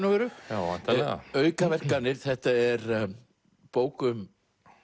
já væntanlega aukaverkanir þetta er bók um